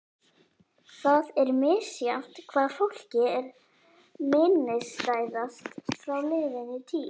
Það er misjafnt hvað fólki er minnisstæðast frá liðinni tíð.